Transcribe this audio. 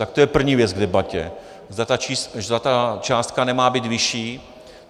Tak to je první věc k debatě, zda ta částka nemá být vyšší?